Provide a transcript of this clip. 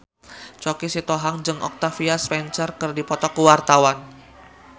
Choky Sitohang jeung Octavia Spencer keur dipoto ku wartawan